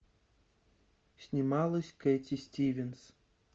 снималась кэти стивенс